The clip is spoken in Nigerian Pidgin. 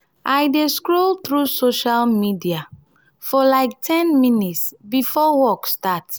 i dey scroll through social media for like ten minutes before work starts.